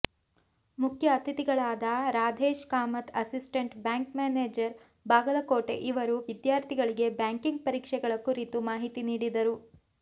ಮುಖ್ಯ ಅತಿಥಿಗಳಾದ Radhesh Kamath assistant bank manager Bagalkote ಇವರು ವಿದ್ಯಾರ್ಥಿಗಳಿಗೆ ಬ್ಯಾಂಕಿಂಗ್ ಪರೀಕ್ಷೆಗಳ ಕುರಿತು ಮಾಹಿತಿ ನೀಡಿದರು